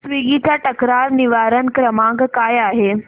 Swiggy चा तक्रार निवारण क्रमांक काय आहे